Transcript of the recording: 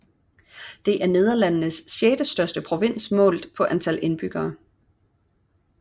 Det er Nederlandenes sjette største provins målt på antal indbyggere